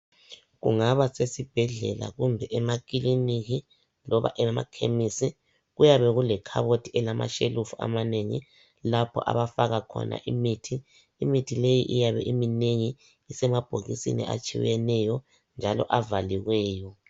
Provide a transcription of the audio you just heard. Kungaba sesibhedlela kumbe emakiliniki kumbe ema khemisi kuyabe kule khabothi elama shelve emanengi lapho abafaka khona imithi. Imithi leyi iyabe iminegi isemabhokisini atshiyeneyo njalo avaliweyo.